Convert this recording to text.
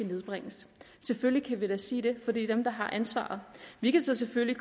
nedbringes selvfølgelig kan vi da sige det for det er dem der har ansvaret vi kan selvfølgelig